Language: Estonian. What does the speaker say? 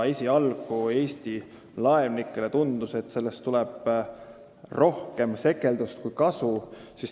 Esialgu Eesti laevnikele tundus, et sellest tuleb rohkem sekeldust kui kasu.